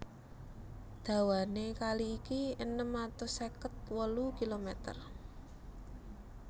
Dawané kali iki enem atus seket wolu kilomèter